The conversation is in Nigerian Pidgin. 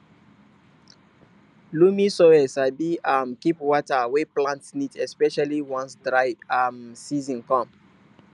loamy soil sabi um keep water wey plant need especially once dry um season come